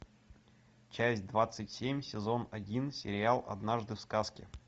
часть двадцать семь сезон один сериал однажды в сказке